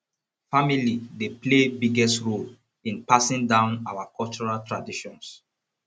family dey play biggest role in passing down our cultural traditions